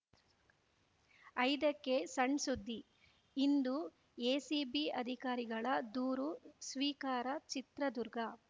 ಐದಕ್ಕೆಸಣ್‌ಸುದ್ದಿ ಇಂದು ಎಸಿಬಿ ಅಧಿಕಾರಿಗಳ ದೂರು ಸ್ವೀಕಾರ ಚಿತ್ರದುರ್ಗ